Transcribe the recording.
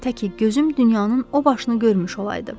Tək ki gözüm dünyanın o başını görmüş olaydı.